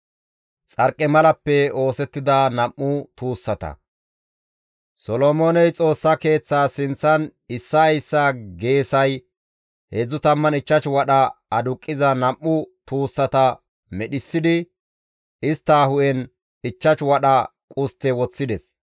Solomooney Xoossa Keeththaas sinththan issaa issaa geesay 35 wadha aduqqiza nam7u tuussata medhissidi istta hu7en 5 wadha qustte woththides.